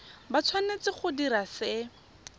ba tshwanetse go dira se